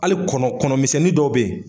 Hali kɔnɔ kɔnɔmisɛnnin dɔw bɛ yen